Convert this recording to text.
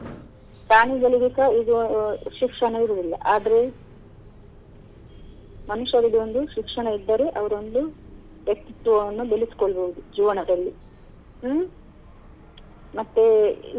ಪ್ರಾಣಿಗಳಿಗೆಸ ಈಗ ಶಿಕ್ಷಣ ಇರುದಿಲ್ಲ ಆದ್ರೆ ಮನುಷ್ಯನಿಗೆ ಒಂದು ಶಿಕ್ಷಣ ಇದ್ದರೆ ಅವರೊಂದು ವ್ಯಕ್ತಿತ್ವವನ್ನು ಬೆಳೆಸ್ಕೊಳ್ಬೋದು ಜೀವನದಲ್ಲಿ ಹ್ಮ್‌ ಮತ್ತೇ.